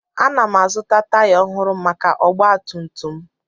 Ana m azụta taya ọhụrụ maka ọgba tum tum m